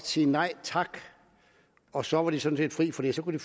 sige nej tak og så var de sådan set fri for det så kunne